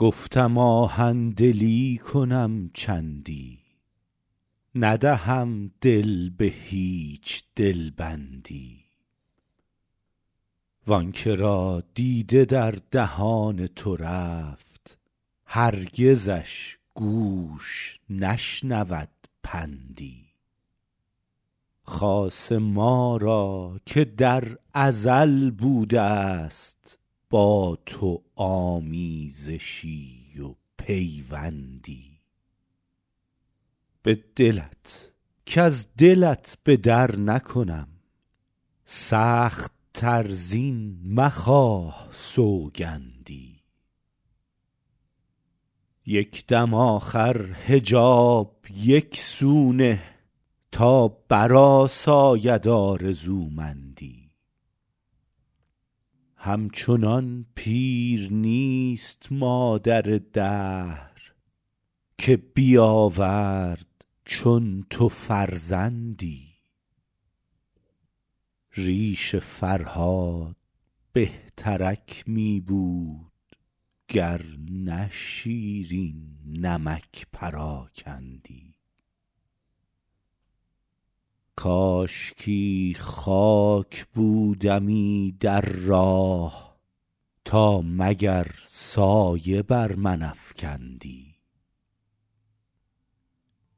گفتم آهن دلی کنم چندی ندهم دل به هیچ دل بندی وآن که را دیده در دهان تو رفت هرگزش گوش نشنود پندی خاصه ما را که در ازل بوده است با تو آمیزشی و پیوندی به دلت کز دلت به در نکنم سخت تر زین مخواه سوگندی یک دم آخر حجاب یک سو نه تا برآساید آرزومندی همچنان پیر نیست مادر دهر که بیاورد چون تو فرزندی ریش فرهاد بهترک می بود گر نه شیرین نمک پراکندی کاشکی خاک بودمی در راه تا مگر سایه بر من افکندی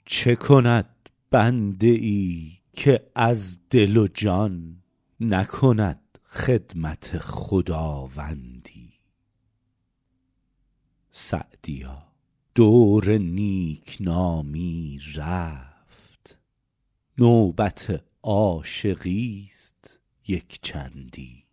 چه کند بنده ای که از دل و جان نکند خدمت خداوندی سعدیا دور نیک نامی رفت نوبت عاشقی است یک چندی